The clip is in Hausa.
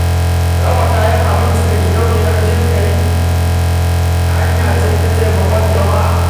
Raba kayan abinci ga gidauniyar jin ƙai hanya ce ta taimakon jama'a.